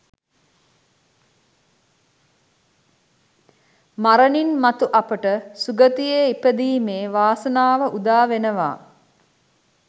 මරණින් මතු අපට සුගතියේ ඉපදීමේ වාසනාව උදාවෙනවා